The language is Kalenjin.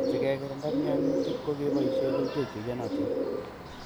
Sikekirinda mianutik ko keboishe kerichek che iyonotin